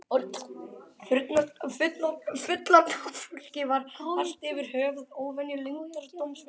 Fullorðna fólkið var allt yfir höfuð óvenju leyndardómsfullt.